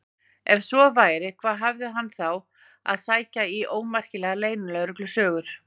Ef svo væri, hvað hafði hann þá að sækja í ómerkilegar leynilögreglusögur?